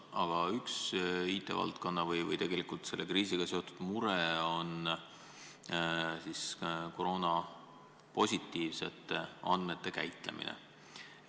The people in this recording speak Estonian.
Aga üks IT-valdkonna või tegelikult selle kriisiga seotud mure on koroonapositiivsete andmete käitlemine.